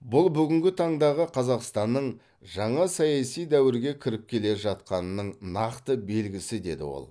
бұл бүгінгі таңдағы қазақстанның жаңа саяси дәуірге кіріп келе жатқанының нақты белгісі деді ол